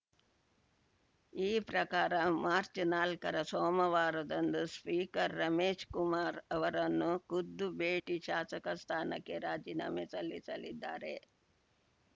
ಈ ಪ್ರಕಾರ ಮಾರ್ಚ್ನಾಲ್ಕರ ಸೋಮವಾರದಂದು ಸ್ಪೀಕರ್‌ ರಮೇಶ್ ಕುಮಾರ್‌ ಅವರನ್ನು ಖುದ್ದು ಭೇಟಿ ಶಾಸಕ ಸ್ಥಾನಕ್ಕೆ ರಾಜೀನಾಮೆ ಸಲ್ಲಿಸಲಿದ್ದಾರೆ